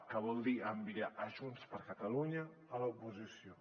que vol dir enviar junts per catalunya a l’oposició